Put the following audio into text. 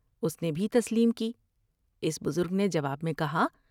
اس نے بھی تسلیم کی ۔اس بزرگ نے جواب میں کہا ۔